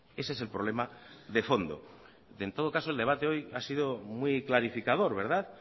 ese es el problema de fondo en todo caso el debate hoy ha sido muy clarificador verdad